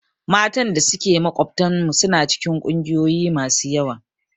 Matan da suke makwabtanmu suna cikin ƙungiyoyi masu yawa.